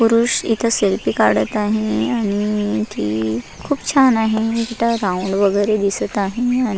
पुरुष इथ सेल्फी काढत आहे आणि ती खुप छान आहे तिथ राऊंड वगैरे दिसत आहे आणि--